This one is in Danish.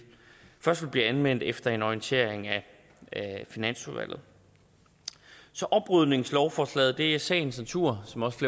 blive anvendt efter en orientering af finansudvalget så oprydningslovforslaget er i sagens natur som også